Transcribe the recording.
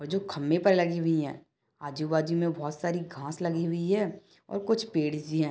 ओइजु लगी हुई है आजूबाजू में बहुत सारी घास लगी हुई है और कुछ पेरी से है।